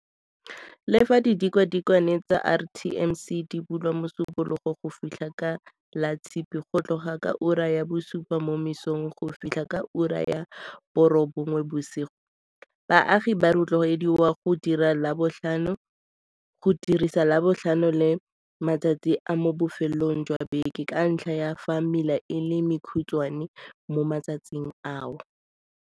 Le fa ditikwatikwe tsa RTMC di bulwa Mosupo logo go fitlha ka Latshipi go tloga ka ura ya bosupa mo mosong go fitlha ka ura ya borobongwe bosigo, baagi ba rotloediwa go dirisa Labotlhano le matsatsi a mo bofelong jwa beke ka ntlha ya fa mela e le mekhutshwane mo matsatsing ao.